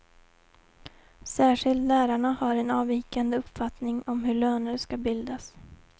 Särskilt lärarna har en avvikande uppfattning om hur löner ska bildas.